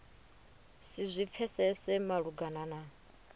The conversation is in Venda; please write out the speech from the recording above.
si zwi pfesese malugana na